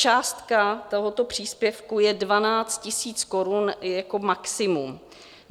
Částka tohoto příspěvku je 12 000 korun jako maximum.